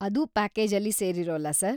ಅದು ಪ್ಯಾಕೇಜಲ್ಲಿ ಸೇರಿರೋಲ್ಲ ಸರ್.